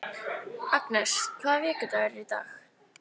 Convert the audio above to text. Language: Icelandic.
Agnes, hvaða vikudagur er í dag?